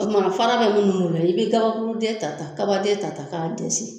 O kuma na fara be munnu la i be gabakuruden tata kabaden tata k'a dasi